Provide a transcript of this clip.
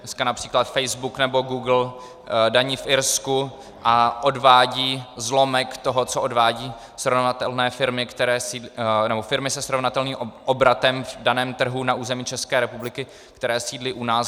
Dneska například Facebook nebo Google daní v Irsku a odvádí zlomek toho, co odvádějí firmy se srovnatelným obratem na daném trhu na území České republiky, které sídlí u nás.